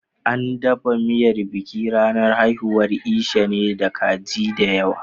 An dafa miyar bikin ranar haihuwar Esha ne da kaji da yawa.